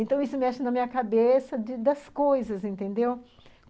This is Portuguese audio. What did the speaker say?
Então, isso mexe na minha cabeça de das coisas, entendeu?